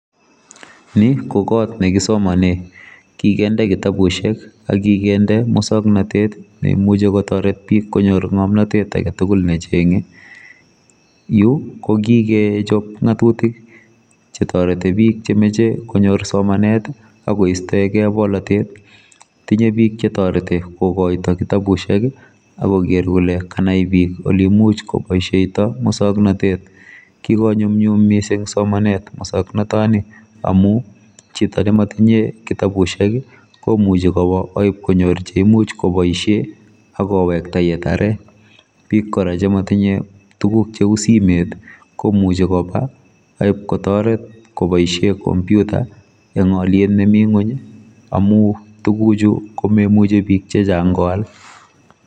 Ni kokot nekisoman ekikende kitabusiek akikende musoknotet neimuchi kotoret bik konyor musoknotet aketugul nechenge yu kokikechop ngatutik chetoreti bik chemoche konyor somanet akoistoegei bolotet tinye pik chetoreti kokoitoi kitabusiek akoker kole kanai bik oleimuch koboisieito muswoknatet kikonyumnyum mising somanet muswoknotani amu chito nematinye kitabusiek komuchi kwo akipkonyor cheimuch koboisie akowekta yetare bik kora chematinye tuguk cheu simet komuchi koba akipkotoret koboisie komputa eng oliet nemi ngony amu tuguchu komemuchi bik chechang koal.